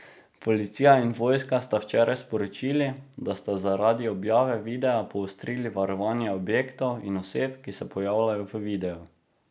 Policija in vojska sta včeraj sporočili, da sta zaradi objave videa poostrili varovanje objektov in oseb, ki se pojavljajo v videu.